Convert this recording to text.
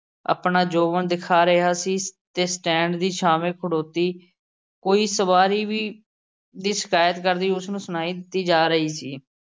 ਆਪਣਾ ਜੋਬਨ ਦਿਖਾ ਰਿਹਾ ਸੀ ਤੇ stand ਦੀ ਛਾਂਵੇਂ ਖੜੋਤੀ ਕੋਈ ਸਵਾਰੀ ਵੀ ਦੀ ਸ਼ਿਕਾਇਤ ਕਰਦੀ ਉਸ ਨੂੰ ਸੁਣਾਈ ਦਿੱਤੀ ਜਾ ਰਹੀ ਸੀ।